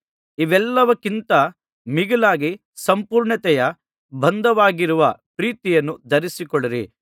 ಇವೆಲ್ಲಕ್ಕಿಂತ ಮಿಗಿಲಾಗಿ ಸಂಪೂರ್ಣತೆಯ ಬಂಧವಾಗಿರುವ ಪ್ರೀತಿಯನ್ನು ಧರಿಸಿಕೊಳ್ಳಿರಿ